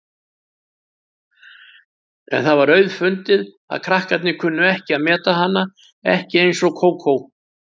En það var auðfundið að krakkarnir kunnu ekki að meta hana, ekki eins og Kókó.